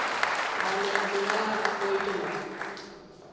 കാഞ്ഞിരപ്പുഴ പോയിട്ടുണ്ടോ